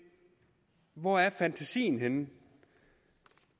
hvor er fantasien henne